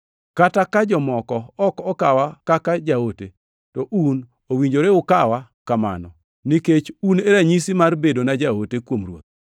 Kata ka jomoko ok okawa kaka jaote, to un owinjore ukawa kamano, nikech un e ranyisi mar bedona jaote kuom Ruoth.